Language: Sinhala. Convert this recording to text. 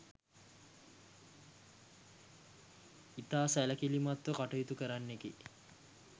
ඉතා සැලකිලිමත්ව කටයුතු කරන්නෙකි.